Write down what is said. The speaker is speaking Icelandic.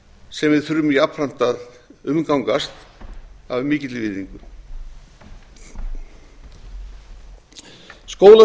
sem við þurfum jafnframt að umgangast af mikilli virðingu skólasöngurinn er